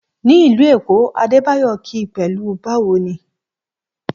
Ní ìlú Èkó, Adebayo kí pẹ̀lú Báwo ni?